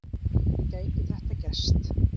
Gæti þetta gerst?